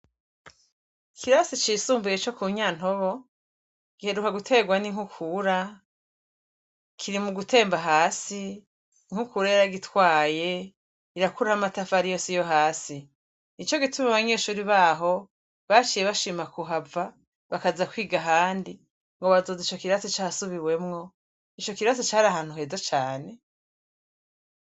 Ikirasi cisumbuye co ku Nyantobo, giheruka guterwa n'inkukura, kiri mu gutemba hasi, inkukura yaragitwaye, irakuraho amatafari yose yo hasi. Nico gituma abanyeshure baho, baciye bashima kuhava, bakaza kwiga ahandi, ngo bazoza ico kirasi casubiwemwo. Ico kirasi cari ahantu heza cane.